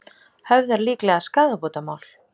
Höfðar líklega skaðabótamál